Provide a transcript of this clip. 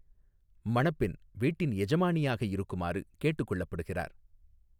மணப்பெண், வீட்டின் எஜமானியாக இருக்குமாறு கேட்டுக்கொள்ளப்படுகிறார்.